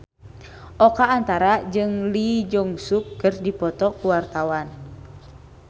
Oka Antara jeung Lee Jeong Suk keur dipoto ku wartawan